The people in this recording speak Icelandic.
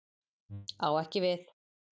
Á ekki við